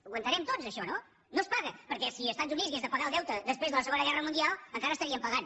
ho entenem tots això no no es paga perquè si els estats units hagués de pagar el deute després de la segona guerra mundial encara estarien pagant